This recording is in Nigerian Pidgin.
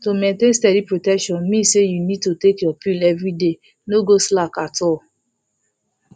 to maintain steady protection mean say you need to dey take your pill everyday no go slack at all